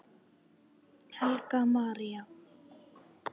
Helga María.